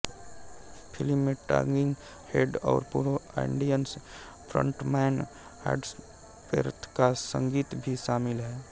film में talking head और पूर्व ऑडियंस फ्रंटमैन हॉवर्ड वेरथ का संगीत भी शामिल है